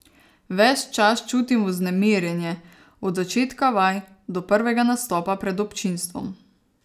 Ves čas čutim vznemirjenje, od začetka vaj do prvega nastopa pred občinstvom.